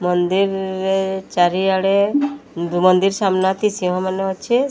ମନ୍ଦିର ରେ ଚାରିଆଡ଼େ ଦୁ ମନ୍ଦିର ସାମ୍ନା ଟି ସିଂହ ମାନ ଅଛେ।